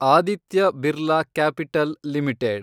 Aditya Birla capital limited